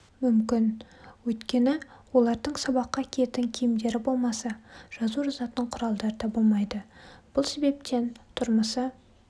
мүмкін өйткені олардың сабаққа киетін киімдері болмаса жазу жазатын құралдары да болмайды бұл себептен тұрмысы